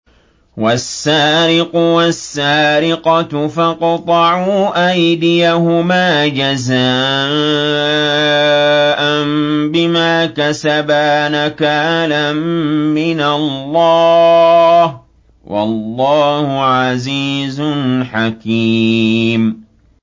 وَالسَّارِقُ وَالسَّارِقَةُ فَاقْطَعُوا أَيْدِيَهُمَا جَزَاءً بِمَا كَسَبَا نَكَالًا مِّنَ اللَّهِ ۗ وَاللَّهُ عَزِيزٌ حَكِيمٌ